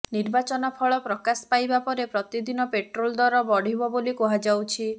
ନିର୍ବାଚନ ଫଳ ପ୍ରକାଶ ପାଇବା ପରେ ପ୍ରତିଦିନ ପେଟ୍ରୋଲ୍ ଦର ବଢ଼ିବ ବୋଲି କୁହାଯାଉଛି